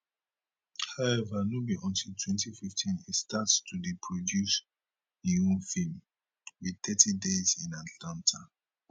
howeva no be until 2015 e start to dey produce im own feem with thirty days in atlanta